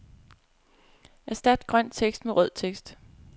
Erstat grøn tekst med rød tekst.